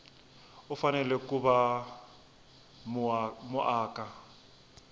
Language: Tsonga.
u fanele ku va muaka